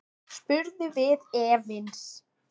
spurðum við efins.